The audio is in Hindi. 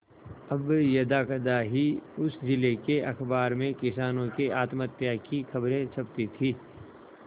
अब यदाकदा ही उस जिले के अखबार में किसानों के आत्महत्या की खबरें छपती थी